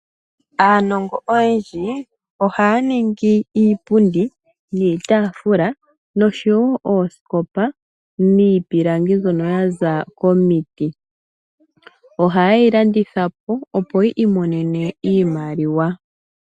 Aanongo oyendji ohaya ningi iipundi , iitaafula noshowoo oosikopa miipilangi mbyono ya za komiti . Ohaye yi landitha po, opo yi imonene mo iimaliwa.